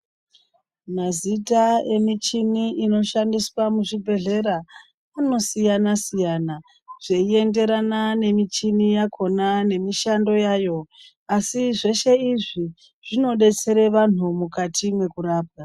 Mazita yemichini inoshandiswa muzvibhedhlera inosiyana siyana zveienderana nemichini yakona nemishando yayo asi zveshe izvii zvinobetsere vantu mukati mwekurapwa.